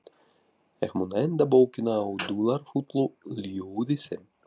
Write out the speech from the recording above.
Ég mun enda bókina á dularfullu ljóði sem